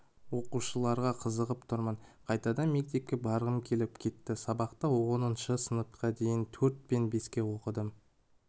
оқушыларға қызығып тұрмын қайтадан мектепке барғым келіп кетті сабақты оныншы сыныпқа дейін төрт пен беске оқыдым